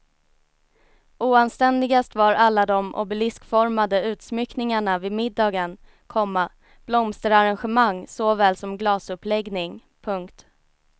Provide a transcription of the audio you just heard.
Oanständigast var alla de obeliskformade utsmyckningarna vid middagen, komma blomsterarrangemang såväl som glasuppläggning. punkt